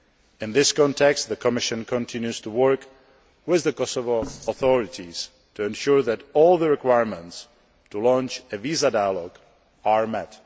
met. In this context, the Commission continues to work with the Kosovo authorities to ensure that all the requirements to launch a visa dialogue are